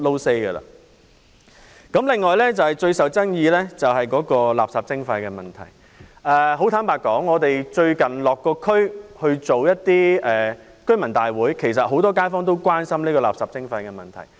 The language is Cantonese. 此外，關於最受爭議的垃圾徵費問題，很坦白說，我們最近曾落區舉行居民大會，知道其實很多街坊也關心這問題。